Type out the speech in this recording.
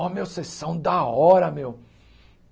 Oh, meu, vocês são da hora, meu.